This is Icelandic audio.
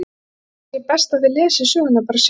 Æ, ég held að það sé best að þið lesið söguna bara sjálf.